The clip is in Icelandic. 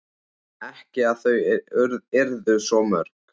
Ekki að þau yrðu svo mörg.